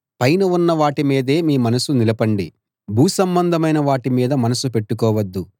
పైన ఉన్న వాటి మీదే మీ మనసు నిలపండి భూసంబంధమైన వాటి మీద మనసు పెట్టుకోవద్దు